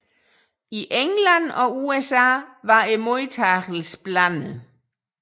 I England og USA var modtagelsen blandet